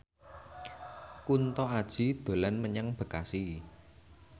Kunto Aji dolan menyang Bekasi